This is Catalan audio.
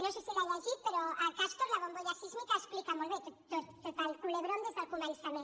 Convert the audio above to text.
no sé si l’ha llegit però a castor la bombolla sísmica explica molt bé tot el culebrón des del començament